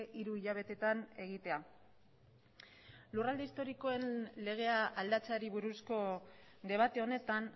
hiru hilabeteetan egitea lurralde historikoen legea aldatzeari buruzko debate honetan